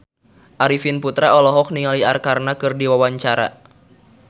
Arifin Putra olohok ningali Arkarna keur diwawancara